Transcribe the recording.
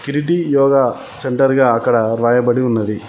Kriti Yoga centre గా అక్కడ రాయబడి ఉన్నది.